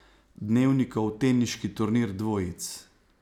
Dnevnikov teniški turnir dvojic.